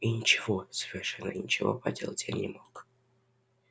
и ничего совершенно ничего поделать я не мог